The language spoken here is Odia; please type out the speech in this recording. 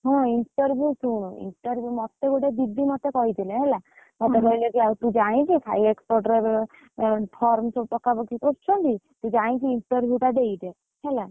ହଁ interview ଶୁଣୁ, interview ମତେ ଗୋଟେ ଦିଦି କହିଥିଲେ ହେଲା, ମତେ କହିଲେ ତୁ ଯାଇକି Sai Export ରେ, form ସବୁ ପକାପକି କରୁଛନ୍ତି। ତୁ ଯାଇକି interview ଟା ଦେଇଦେ, ହେଲା।